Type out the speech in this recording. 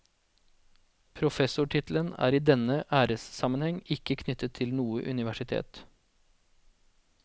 Professortittelen er i denne æressammenheng ikke knyttet til noe universitet.